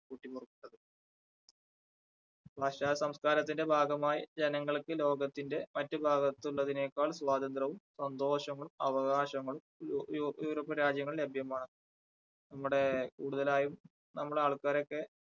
പാശ്ചാത്യ സംസ്കാരത്തിൻറെ ഭാഗമായി ജനങ്ങൾക്ക് ലോകത്തിൻറെ മറ്റ് ഭാഗത്ത് ഉള്ളതിനേക്കാൾ സ്വാതന്ത്രവും, സന്തോഷങ്ങളും, അവകാശങ്ങളും യു~യു~യൂറോപ്യൻ രാജ്യങ്ങളിൽ ലഭ്യമാണ് നമ്മുടെ കൂടുതലായും നമ്മുടെ ആൾക്കാരൊക്കെ,